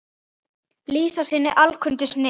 lýsa af sinni alkunnu snilld.